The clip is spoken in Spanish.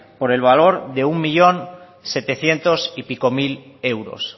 por el valor de un millón setecientos y pico mil euros